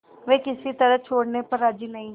वे किसी तरह छोड़ने पर राजी नहीं